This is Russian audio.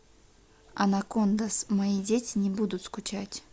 анакондаз мои дети не будут скучать